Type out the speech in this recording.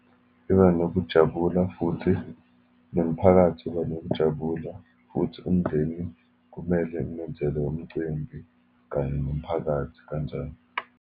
Iba nokujabula, futhi nomphakathi uba nokujabula, futhi umndeni kumele umenzele umcimbi kanye nomphakathi kanjalo.